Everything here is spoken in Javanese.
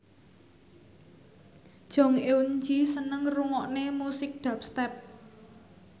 Jong Eun Ji seneng ngrungokne musik dubstep